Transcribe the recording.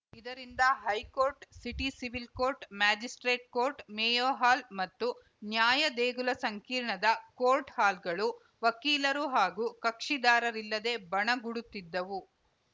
ಇದರಿಂದ high court city civil court magistrate court Mayo Hall ಮತ್ತು ನ್ಯಾಯ ದೇಗುಲ ಸಂಕೀರ್ಣದ ಕೋರ್ಟ್‌ ಹಾಲ್‌ಗಳು ವಕೀಲರು ಹಾಗೂ ಕಕ್ಷಿದಾರರಿಲ್ಲದೆ ಬಣಗುಡುತ್ತಿದ್ದವು